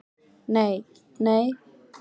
Nei, nei?